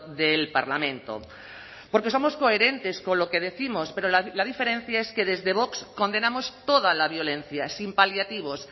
del parlamento porque somos coherentes con lo que décimos pero la diferencia es que desde vox condenamos toda la violencia sin paliativos